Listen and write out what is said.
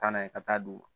Taa n'a ye ka taa d'u ma